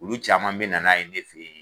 Olu caman be na' ye ne fe yen